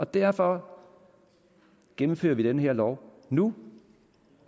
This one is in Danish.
derfor gennemfører vi den her lov nu